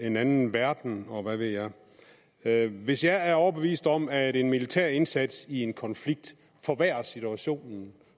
en anden verden og hvad ved jeg jeg hvis jeg er overbevist om at en militær indsats i en konflikt forværrer situationen